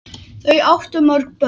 Þau áttu mörg börn.